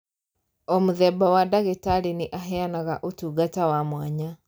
O mũthemba wa ndagĩtarĩ nĩ aheanaga ũtungata wa mwanya